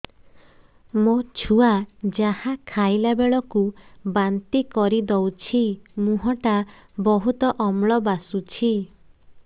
ମୋ ଛୁଆ ଯାହା ଖାଇଲା ବେଳକୁ ବାନ୍ତି କରିଦଉଛି ମୁହଁ ଟା ବହୁତ ଅମ୍ଳ ବାସୁଛି